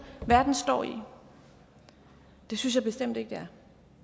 verden står i det synes jeg bestemt ikke det